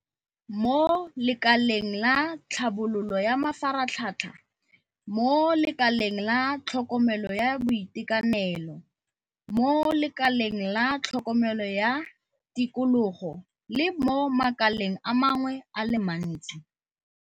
mo lekaleng la tlhabololo ya mafaratlhatlha, mo lekaleng la tlhokomelo ya boitekanelo, mo lekaleng la tlhokomelo ya tikologo le mo makaleng a mangwe a le mantsi.